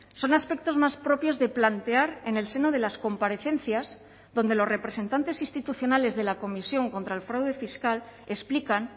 son aspectos más propios de plantear en el seno de las comparecencias donde los representantes institucionales de la comisión contra el fraude fiscal explican